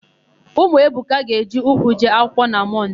Ụmụ Ebuka ga-eji ụkwụ jee akwựkwọ na Mọnde.